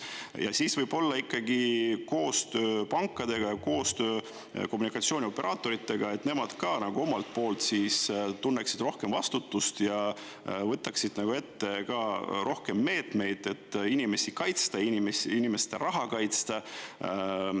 Ja siis võib-olla ikkagi koostöö pankadega ja koostöö kommunikatsioonioperaatoritega, et nemad ka omalt poolt siis tunneksid rohkem vastutust ja võtaksid ette ka rohkem meetmeid, et inimesi kaitsta, inimeste raha kaitsta.